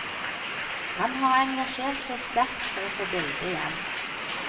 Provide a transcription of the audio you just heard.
Han har engasjert seg sterkt for å få bildet hjem.